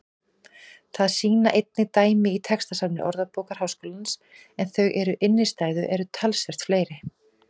Það sýna einnig dæmi í textasafni Orðabókar Háskólans en þau um innstæðu eru talsvert fleiri.